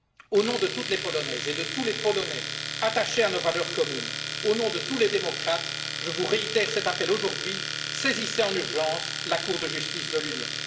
Au nom de toutes les Polonaises et de tous les Polonais attachés à nos valeurs communes, au nom de tous les démocrates, je vous réitère cet appel aujourd'hui saisissez en urgence la Cour de justice de l'Union.